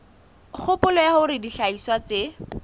kgopolo ya hore dihlahiswa tse